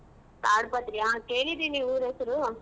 ಕಾಡ್ಪತ್ರಿ ಆ ಕೇಳಿದಿನಿ ಊರ್ ಹೆಸ್ರು.